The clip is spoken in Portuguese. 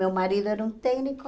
Meu marido era um técnico,